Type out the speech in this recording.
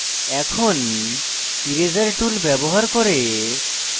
এখন eraser tool ব্যবহার করে